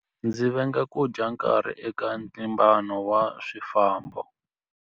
Ndzi venga ku dya nkarhi eka ntlimbano wa swifambo.